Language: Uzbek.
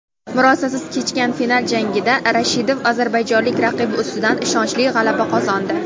Murosasiz kechgan final jangida Rashitov ozarbayjonlik raqibi ustidan ishonchli g‘alaba qozondi.